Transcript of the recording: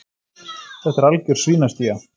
Þetta er algjör svínastía.